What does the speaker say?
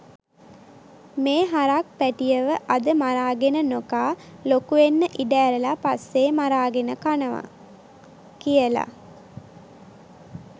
මේ හරක් පැටියව අද මරාගෙන නොකා ලොකුවෙන්න ඉඩ ඇරලා පස්සේ මරාගෙන කනවා කියලා